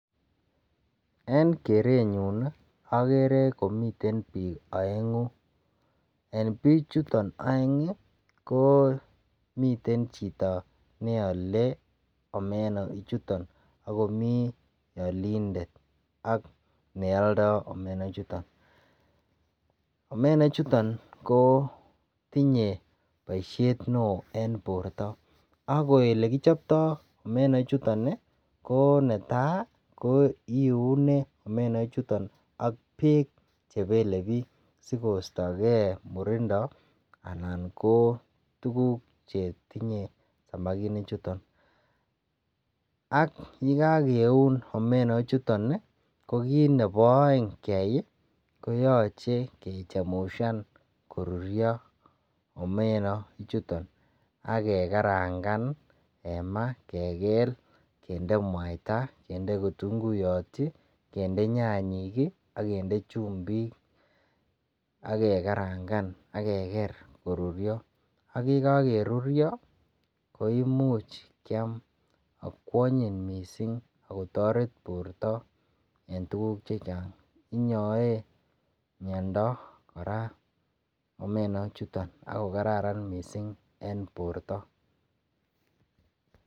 En kerenyun akere komiten bik oengu en bikchuton oeng ko miten chito neole omena ichuton akomi olindet ak neoldo omena choton omena chuton ko tunye boishet neo en borto ak olekichopto omena chuton ko netai ko iune omena chuton ak bek chebelebik sigostoge murindo chuton alan kotuguk chetinye samakinik chuton ak yekakoun omena chuton ko kit nebo oeng keyai kechemushan koruryo omena chuton ak kegarangan en maa kegel kende mwaita kinde kitunguyot kende nyenyik ak kitunguyot ak chumbikakeker koruryo ak yekokakoruryo ko imuch kyam ago onyin mising agotoret borto en tuguk chechan inyoe miondo kora omena chuton ako kararan mising en borto